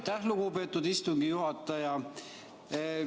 Aitäh, lugupeetud istungi juhataja!